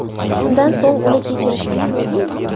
Shundan so‘ng uni kechirishgan.